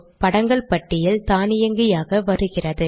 படங்கள் பட்டியல் தானியங்கியாக வருகிறது